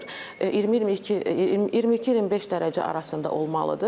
20-22, 22-25 dərəcə arasında olmalıdır.